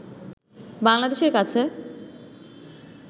বাংলাদেশের কাছে